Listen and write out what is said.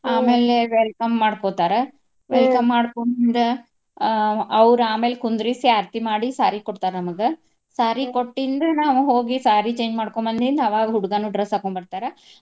ಆಮ್ಯಾಲೆ welcome ಮಾಡ್ಕೊತಾರ welcome ಮಾಡ್ಕೊಂಡ್ ಆಹ್ ಅವ್ರ್ ಆಮೇಲೆ ಕುಂದ್ರಿಸಿ ಆರ್ತಿ ಮಾಡಿ saree ಕೊಡ್ತಾರ ನಮಗ. saree ಕೊಟ್ಟಿಂದ್ ನಾವ್ ಹೋಗಿ saree change ಮಾಡ್ಕೊಂಡ್ ಬಂದಿಂದ ಅವಾಗ ಹುಡ್ಗಾನು dress ಹಾಕ್ಕೊಂಡ ಬರ್ತಾರ.